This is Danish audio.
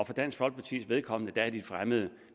for dansk folkepartis vedkommende er det de fremmede